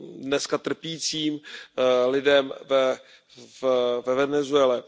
dneska trpícím lidem ve Venezuele.